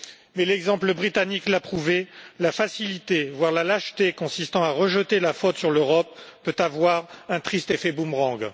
Mais l'exemple britannique l'a prouvé, la facilité, voire la lâcheté consistant à rejeter la faute sur l'Europe peut avoir un triste effet boomerang.